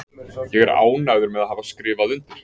Ég er ánægður með að hafa skrifað undir.